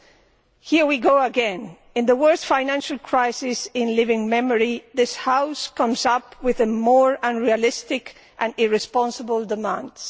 Madam President, here we go again. In the worst financial crisis in living memory, this House comes up with more unrealistic and irresponsible demands.